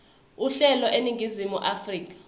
uhlelo eningizimu afrika